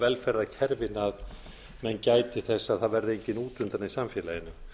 velferðarkerfið að menn gæti þess að það verði enginn út undan í samfélaginu